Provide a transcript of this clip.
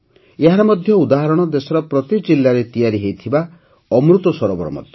ଏହାର ଏକ ଉଦାହରଣ ଦେଶର ପ୍ରତି ଜିଲାରେ ତିଆରି ହେଉଥିବା ଅମୃତ ସରୋବର ମଧ୍ୟ